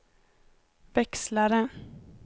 växlare